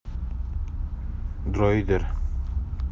дроидер